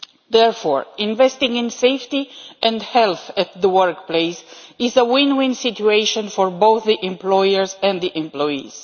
Therefore, investing in safety and health at the workplace is a win win situation for both the employers and the employees.